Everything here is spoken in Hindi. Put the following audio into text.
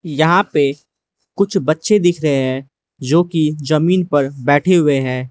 यहां पे कुछ बच्चे दिख रहे हैं जो की जमीन पर बैठे हुए हैं।